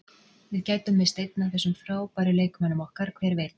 Við gætum misst einn af þessum frábæru leikmönnum okkar, hver veit?